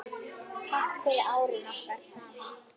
Takk fyrir árin okkar saman.